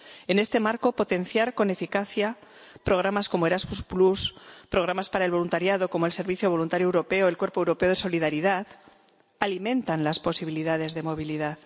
En este marco, potenciar con eficacia programas como Erasmus, programas para el voluntariado, como el Servicio Voluntario Europeo y el Cuerpo Europeo de Solidaridad, alimentan las posibilidades de movilidad.